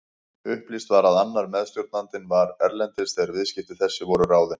Upplýst var að annar meðstjórnandinn var erlendis þegar viðskipti þessi voru ráðin.